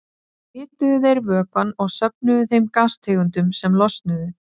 Þá hituðu þeir vökvann og söfnuðu þeim gastegundum sem losnuðu.